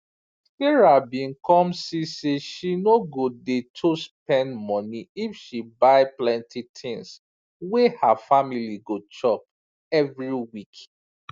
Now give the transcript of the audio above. sarah bin come see say she no go dey to spend money if she buy plenty tins wey her family go chop every week